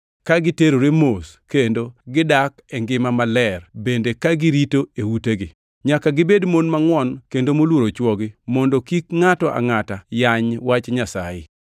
ka giterore mos kendo gidak e ngima maler bende ka girito e utegi. Nyaka gibed mon mangʼwon kendo moluoro chwogi mondo kik ngʼato angʼata yany wach Nyasaye.